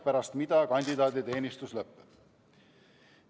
Pärast seda kandidaaditeenistus lõpeb.